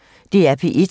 DR P1